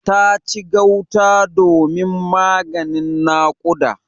Ta ci gauta domin maganin nakuda.